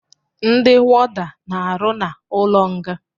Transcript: Ndi wọda n'aru na ụlo nga